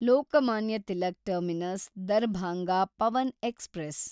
Lokmanya Tilak terminus Darbhanga Pawan express